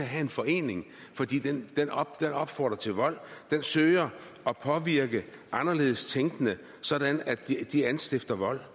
have en forening fordi den opfordrer til vold den søger at påvirke anderledes tænkende sådan at de anstifter vold